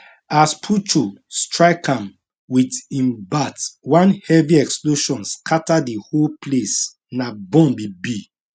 as puchu strike am wit im bat one heavy explosion scatter di whole place na bomb e be